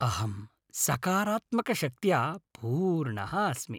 अहं सकारात्मकशक्त्या पूर्णः अस्मि।